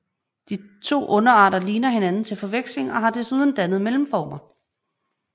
De to underarter ligner hianden til forveksling og har desuden dannet mellemformer